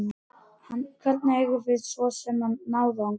Hvernig eigum við svo sem að ná þangað?